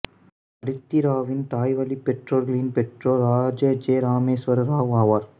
அதிதி ராவின் தாய்வழிப் பெற்றோர்களின் பெற்றோர்கள் ராஜா ஜே ராமேஷ்வர் ராவ் ஆவார்